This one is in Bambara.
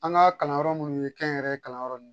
An ka kalanyɔrɔ munnu ye kɛ n yɛrɛ ye kalanyɔrɔ n